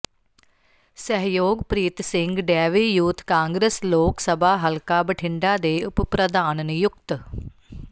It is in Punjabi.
ਸਹਿਯੋਗਪ੍ਰੀਤ ਸਿੰਘ ਡੈਵੀ ਯੂਥ ਕਾਂਗਰਸ ਲੋਕ ਸਭਾ ਹਲਕਾ ਬਠਿੰਡਾ ਦੇ ਉਪ ਪ੍ਰਧਾਨ ਨਿਯੁਕਤ